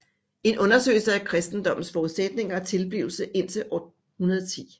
En undersøgelse af kristendommens forudsætninger og tilblivelse indtil år 110